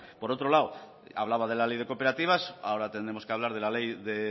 por otro lado hablaba de la ley de cooperativas ahora tendremos que hablar de la ley de